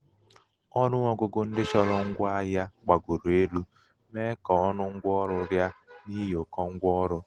ọnụ um ọgụgụ ndị chọrọ ngwa ahịa gbagoro elu mee ka ọnụ ngwa ọrụ rịa n'ihi ụkọ ngwa ọrụ.